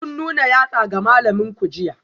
Kun nuna yatsa ga malaminku jiya?